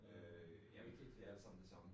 Jeg ved ikke helt